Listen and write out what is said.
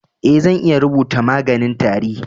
Eh, zan iya rubutan maganin tari.